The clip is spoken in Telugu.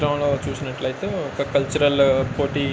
చిత్రం లో చూసినట్టైతే ఒక కల్చరల్ లో పోటీ --